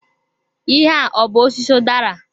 Ihe a ọ bụ osisi udara?